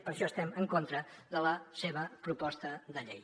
per això estem en contra de la seva proposta de llei